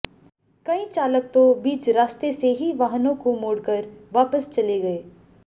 कई चालक तो बीच रास्ते से ही वाहनों को मोड़ कर वापस चले गए